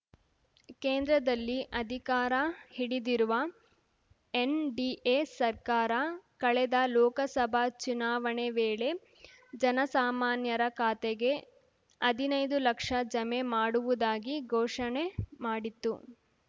ಕೇಂದ್ರದಲ್ಲಿ ಅಧಿಕಾರ ಹಿಡಿದಿರುವ ಎನ್‌ಡಿಎ ಸರ್ಕಾರ ಕಳೆದ ಲೋಕಸಭಾ ಚುನಾವಣೆ ವೇಳೆ ಜನಸಾಮಾನ್ಯರ ಖಾತೆಗೆ ಹದಿನೈದು ಲಕ್ಷ ಜಮೆ ಮಾಡುವುದಾಗಿ ಘೋಷಣೆ ಮಾಡಿತ್ತು